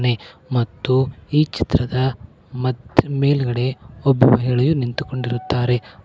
ಮತ್ತು ಈ ಚಿತ್ರದ ಮತ್ ಮೇಲ್ಗಡೆ ಒಬ್ಬ ಮಹಿಳೆಯು ನಿಂತುಕೊಂಡಿರುತ್ತಾರೆ.